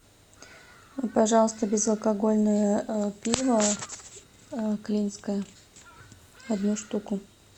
пожалуйста безалкогольное пиво клинское одну штуку